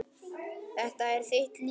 Þetta er þitt líf